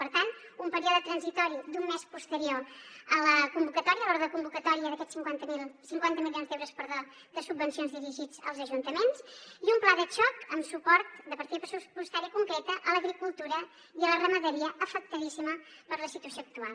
per tant un període transitori d’un mes posterior a la convocatòria a l’odre de convocatòria d’aquests cinquanta milions d’euros de subvencions dirigits als ajuntaments i un pla de xoc amb suport de partida pressupostària concreta a l’agricultura i a la ramaderia afectadíssimes per la situació actual